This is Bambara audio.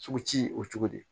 Sugu ci o cogo di